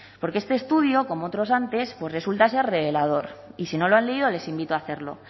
porque este estudio como otros antes pues resulta ser revelador y si no lo han leído les invito a hacerlo